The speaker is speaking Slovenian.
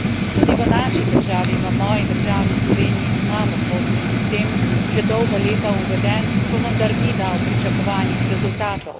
Tudi v naši državi, v moji državi, Sloveniji, imamo kvotni sistem že dolga leta uveden, pa vendar ni dal pričakovanih rezultatov.